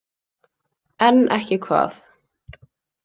En ekki hvað.